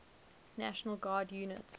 national guard units